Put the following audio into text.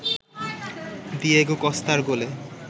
Diego কস্তার গোলে